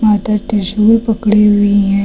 माता त्रिशूल पकड़े हुई हैं।